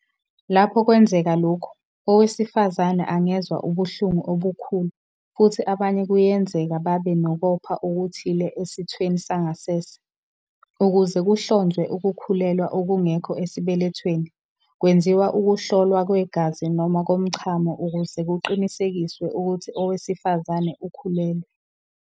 Lapho kwenzeka lokhu, owesifazane angezwa ubuhlungu obukhulu futhi abanye kuyenzeka babe nokopha okuthile esithweni sangasese. Ukuze kuhlonzwe ukukhulelwa okungekho esibelethweni, kwenziwa ukuhlolwa kwegazi noma komchamo ukuze kuqinisekiswe ukuthi owesifazane ukhulelwe.